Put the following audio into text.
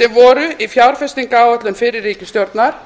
sem voru í fjárfestingaráætlun fyrri ríkisstjórnar